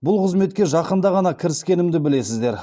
бұл қызметке жақында ғана кіріскенімді білесіздер